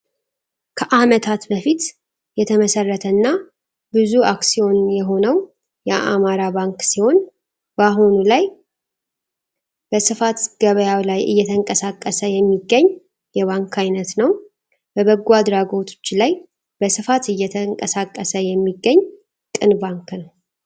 ከአመታት በፊት የተመሰረተና ብዙ አክሲዮን የሆነው የአማራ ባንክ ሲሆን በአሁኑ ላይ በስፋት ገበያው ላይ እየተንቀሳቀስ የሚገኝ የባንክ ዓይነት ነው። በበጎ አድራጎቶች ላይ በስፋት እየተንቀሳቀስ የሚገኝ ቅን ባንክ ነው!